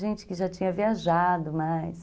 Gente que já tinha viajado mais.